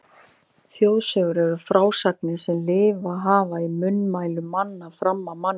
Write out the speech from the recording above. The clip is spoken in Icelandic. Þjóðsögur eru frásagnir sem lifað hafa í munnmælum mann fram af manni.